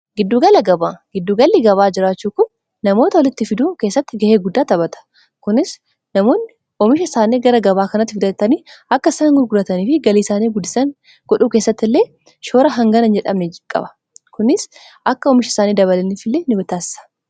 gabgiddugalli gabaa jiraachuu ku namoota holitti fiduu keessatti ga'ee guddaa taphata knamoonni oomisha isaanii gara gabaa kanatti futatanii akka isaan gurguratanii fi galii isaanii gudisan godhuu keessatti illee shoora hangana jedhameqaba kunis akka omisha isaanii dabalinf illee n bitaassa